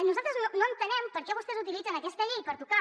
nosaltres no entenem per què vostès utilitzen aquesta llei per tocar